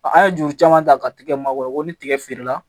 An ye joli caman ta ka tigɛ mago ni tigɛ feere la